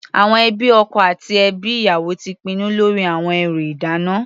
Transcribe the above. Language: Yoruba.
Àwọn ẹbí ọkọ àti ẹbí ìyàwó ti pinnu lórí àwọn ẹrú ìdána.